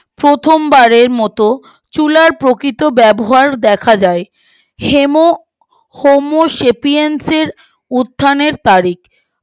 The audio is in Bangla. প্রথম বারের মতো চুলার প্রকৃত ব্যবহার দেখা যায় হেমো হোমো সেপিয়ন্সর উত্থানের তা রিখ আড়াইশো হাজার থেকে